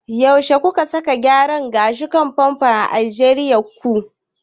Yaushe kuka saka gyaran gashin "pompadour" a jerin ku?